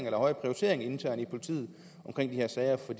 en højere prioritering internt i politiet af de her sager for